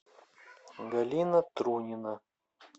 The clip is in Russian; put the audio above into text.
галина трунина